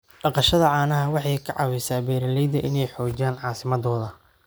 Dhaqashada caanaha waxay ka caawisaa beeralayda inay xoojiyaan caasimadooda.